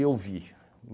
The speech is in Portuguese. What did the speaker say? vi.